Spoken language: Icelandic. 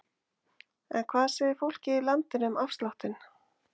En hvað segir fólkið í landinu um afsláttinn?